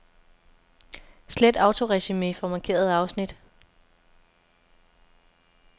Slet autoresumé fra markerede afsnit.